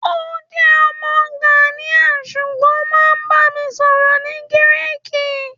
o jẹ ọmọ Ghanian ṣugbọn o ba mi sọrọ ni Giriki